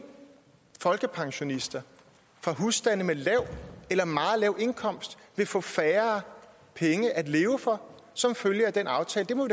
folkepensionister fra husstande med lav eller meget lav indkomst vil få færre penge at leve for som følge af den aftale det må